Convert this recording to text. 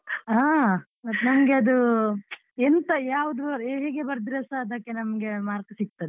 ಹಾ ಮತ್ ನಂಗ್ ಅದು ಎಂಥ ಯಾವುದು ಹೇಗೆ ಬರದ್ರೆಸ ಅದಕ್ಕೆ ನಮ್ಗೆ mark ಸಿಕ್ತದೆ.